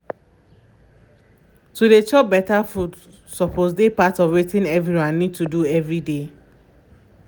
to dey chop better food suppose dey part of wetin everyone need to dey do every day